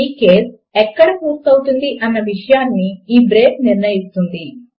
ఈ కేస్ ఎక్కడ పూర్తి అవుతుంది అన్న విషయమును ఈ బ్రేక్ నిర్ణయిస్తుంది